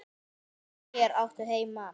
Hér áttu heima.